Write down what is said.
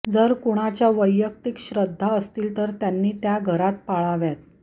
जर कुणाच्या वैयक्तिक श्रद्धा असतील तर त्यांनी त्या घरात पाळाव्यात